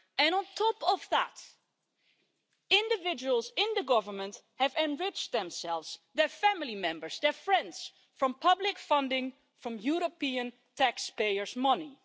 On top of that, individuals in the government have enriched themselves, their family members and their friends by means of public funding from European taxpayers' money.